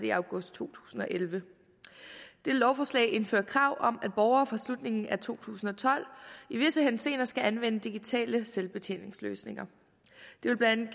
i august to tusind og elleve dette lovforslag indfører krav om at borgere fra slutningen af to tusind og tolv i visse henseender skal anvende digitale selvbetjeningsløsninger det vil blandt